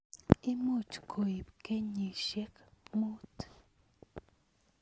Imuch koib kenyishek mut.